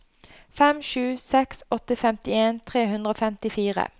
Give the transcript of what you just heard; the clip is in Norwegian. fem sju seks åtte femtien tre hundre og femtifire